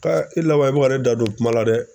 e laban i bɛ ka ne da don kuma la dɛ.